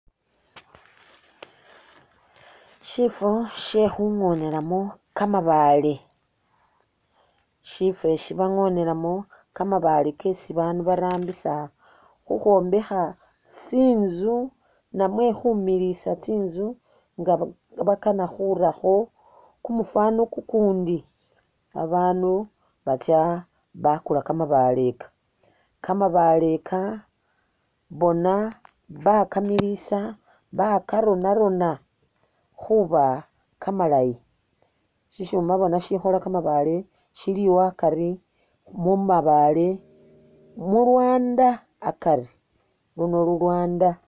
Shifwo she khungonelamu kamabaale. Shifwo esi bangonelamu kamabaale kesi abaandu barambisa khukhwombekha tsinzu namwe khumiliisa tsinzu nga nga bakana khurakho kumufwaano kukundi. Abaanu batsya bakula kamabale aka. Kamabaale aka bona bakamiliisa bakarona-rona khuba kamalayi. Shishuma bona shikhola kamabaale shiliwo akari, mu mabaale, mu lwaanda akari, luno lulwaanda.